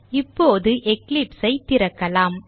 இப்போது Eclipse ஐ திறக்கலாம்